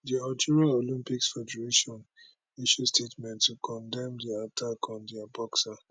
di algeria olympics federation issue statement to condemn di attack on dia boxer